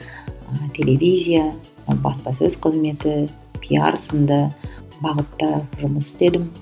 ыыы телевизия ы баспасөз қызметі пиар сынды бағытта жұмыс істедім